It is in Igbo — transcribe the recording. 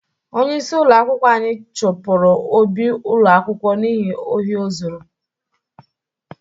Onyeisi ụlọ akwụkwọ anyi chụpụrụ Obi ụlọ akwụkwọ n'ihi ohi o zuru.